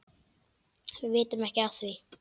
Við vitum ekki af því.